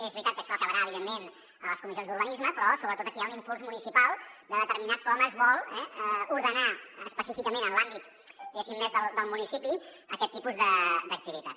és veritat que això acabarà evidentment a les comissions d’urbanisme però sobretot aquí hi ha un impuls municipal de determinar com es vol ordenar específicament en l’àmbit més del municipi aquest tipus d’activitat